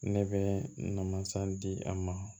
Ne bɛ namasa di a ma